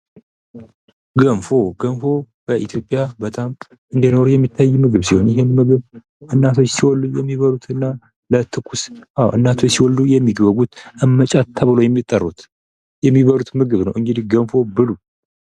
ምግብ ባህላዊ ማንነትን የሚያንፀባርቅ ሲሆን እያንዳንዱ ሀገርና ክልል የራሱ የሆነ ልዩ የምግብ አሰራርና ጣዕም አለው።